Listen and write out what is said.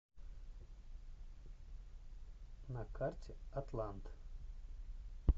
на карте атлант